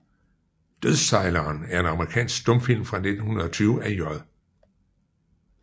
Dødssejleren er en amerikansk stumfilm fra 1920 af J